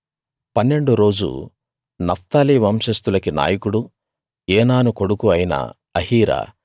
పన్నెండో రోజు నఫ్తాలీ వంశస్తులకి నాయకుడూ ఏనాను కొడుకూ అయిన అహీరా